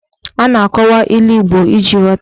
A na-akọwa ilu Igbo iji ghọta ya.